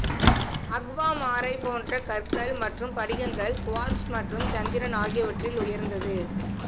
அக்வாமாரைப் போன்ற கற்கள் மற்றும் படிகங்கள் குவார்ட்ஸ் மற்றும் சந்திரன் ஆகியவற்றில் உயர்ந்தது